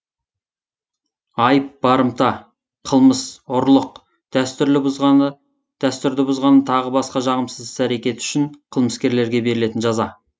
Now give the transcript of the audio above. айып барымта қылмыс ұрлық дәстүрді бұзғаны тағы басқа жағымсыз іс әрекеті үшін қылмыскерлерге берілетін жаза